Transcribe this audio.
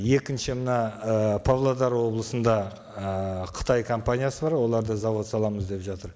екінші мына ы павлодар облысында ы қытай компаниясы бар олар да зауыт саламыз деп жатыр